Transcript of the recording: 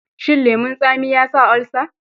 Shin lemon tsami ya sa olsa?